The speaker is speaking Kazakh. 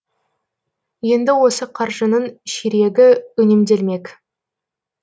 енді осы қаржының ширегі үнемделмек